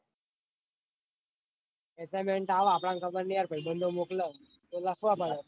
Assignment આવ આપડોને ખબર નાઈ ભૈબંદો મોકલ તો લખવાના